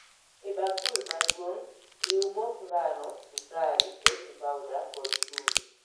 E bakul maduong',riu mok ngano, sukari, baking powder kod chumbi